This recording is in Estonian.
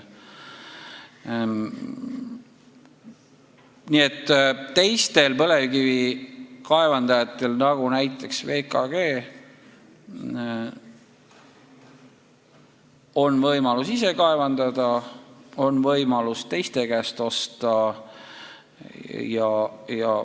Nii et teistel põlevkivi kaevandajatel nagu näiteks VKG on võimalus ise kaevandada ja ka võimalus teiste käest osta.